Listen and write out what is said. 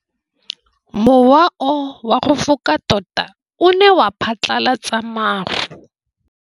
Mowa o wa go foka tota o ne wa phatlalatsa maru.